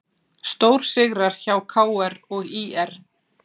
Stórsigrar hjá KR og ÍR